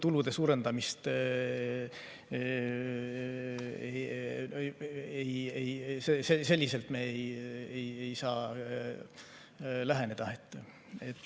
Tulude suurendamine – ei, selliselt me ei saa läheneda.